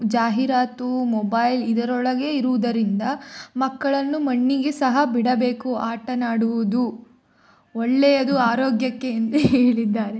ಜಾಹೀರಾತು ಮೊಬೈಲ್ ಇದರೊಳಗೇ ಇರುವುದರಿಂದ ಮಕ್ಕಳನ್ನು ಮಣ್ಣಿಗೆ ಸಹ ಬಿಡಬೇಕು ಆಟನಾಡುವುದು ಒಳ್ಳೆಯದು ಆರೋಗ್ಯಕ್ಕೆ ಎಂದು ಹೇಳಿದ್ದಾರೆ.